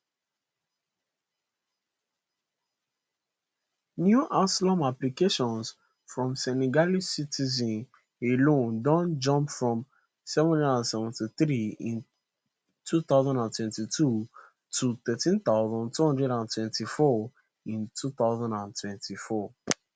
new asylum applications from senegalese citizens alone don jump from 773 in 2022 to 13224 in 2024